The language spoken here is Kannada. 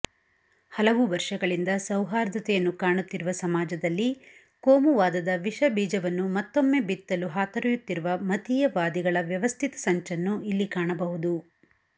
ಹಲವು ವರ್ಷಗಳಿಂದ ಸೌಹಾರ್ದತೆಯನ್ನು ಕಾಣುತ್ತಿರುವ ಸಮಾಜದಲ್ಲಿ ಕೋಮುವಾದದ ವಿಷಬೀಜವನ್ನು ಮತ್ತೊಮ್ಮೆ ಬಿತ್ತಲು ಹಾತೊರೆಯುತ್ತಿರುವ ಮತೀಯವಾದಿಗಳ ವ್ಯವಸ್ಥಿತ ಸಂಚನ್ನು ಇಲ್ಲಿ ಕಾಣಬಹುದು